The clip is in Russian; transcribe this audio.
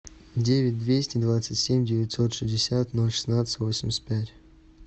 девять двести двадцать семь девятьсот шестьдесят ноль шестнадцать восемьдесят пять